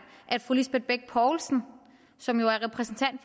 at fru lisbeth bech poulsen som jo er repræsentant